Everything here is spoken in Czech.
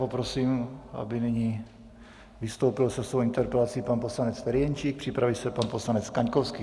Poprosím, aby nyní vystoupil se svojí interpelací pan poslanec Ferjenčík, připraví se pan poslanec Kaňkovský.